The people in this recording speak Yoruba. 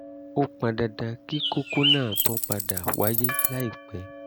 ó pọn dandan kí kókó náà tún padà wáyé láìpẹ́